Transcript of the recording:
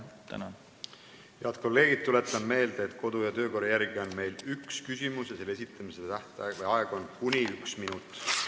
Head kolleegid, tuletan meelde, et kodu- ja töökorra järgi on meil üks küsimus ja selle esitamise aeg on kuni üks minut.